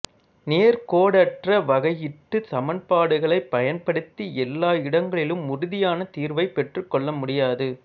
நேர்கோடற்ற வகையீட்டுச் சமன்பாடுகளைப் பயன்படுத்தி எல்லா இடங்களிலும் உறுதியான தீர்வைப் பெற்றுக்கொள்ள முடியாது